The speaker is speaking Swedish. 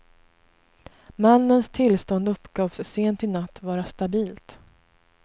Mannens tillstånd uppgavs sent i natt vara stabilt.